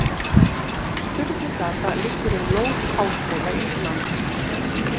Sturlugata liggur um lóð Háskóla Íslands.